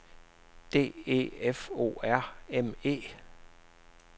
D E F O R M E